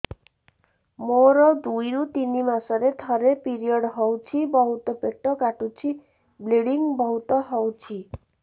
ମୋର ଦୁଇରୁ ତିନି ମାସରେ ଥରେ ପିରିଅଡ଼ ହଉଛି ବହୁତ ପେଟ କାଟୁଛି ବ୍ଲିଡ଼ିଙ୍ଗ ବହୁତ ହଉଛି